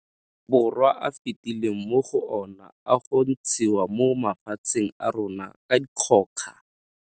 Borwa a fetileng mo go ona a go ntshiwa mo mafatsheng a rona ka dikgoka.